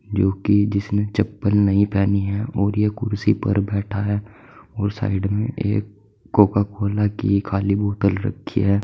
जो कि जिसने चप्पल नहीं पेहनी है और ये कुर्सी पर बैठा है। और साइड में एक कोका कोला की खाली बॉटल रखी है।